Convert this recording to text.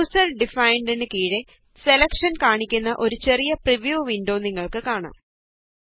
user ഡിഫൈന്ഡ്നു കീഴെ selection കാണിക്കുന്ന ഒരു ചെറിയ പ്രിവ്യൂ വിന്ഡോ നിങ്ങള്ക്ക് കാണാം